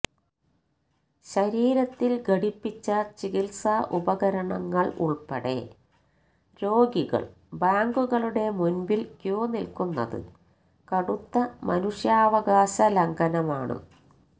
ശരീരത്തിൽ ഘടിപ്പിച്ച ചികിത്സാ ഉപകരണങ്ങൾ ഉൾപ്പെടെ രോഗികൾ ബാങ്കുകളുടെ മുൻപിൽ ക്യൂ നിൽക്കുന്നത് കടുത്ത മനുഷ്യാവകാശ ലംഘനമാണ്